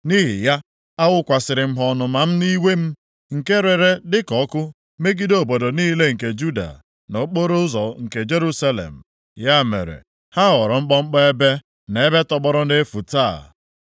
Nʼihi ya, awụkwasịrị m ha ọnụma m na iwe m, nke rere dịka ọkụ megide obodo niile nke Juda, na okporoụzọ nke Jerusalem. Ya mere, ha ghọrọ mkpọmkpọ ebe na ebe tọgbọrọ nʼefu taa.